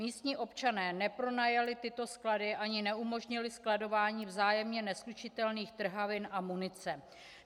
Místní občané nepronajali tyto sklady ani neumožnili skladování vzájemně neslučitelných trhavin a munice.